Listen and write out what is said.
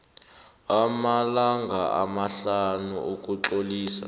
amalanga amahlanu ukutlolisa